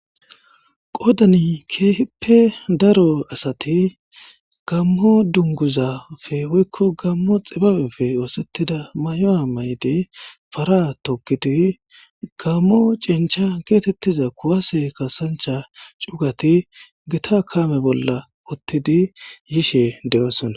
Podani keehippe daro asati gammo dunguzafe woykko gammo xibabefe oosettida may7oa mayde para tokidi gammo cincha geetettiza kuwase kasancha cugati gita kaame bolla ottidi yishe de7oosona.